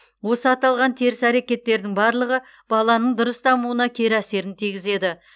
осы аталған теріс әрекеттердің барлығы баланың дұрыс дамуына кері әсерін тигізеді